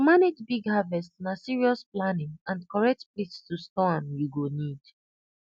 to manage big harvest na serious planning and correct place to store am you go need